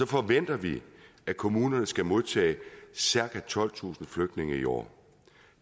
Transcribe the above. forventer vi at kommunerne skal modtage cirka tolvtusind flygtninge i år